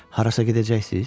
Harasa gedəcəksiz?